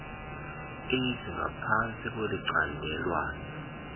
h ngaphansti kwelicandelwana